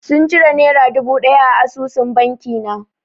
Sun cire nera dubu ɗaya a asusun banki na.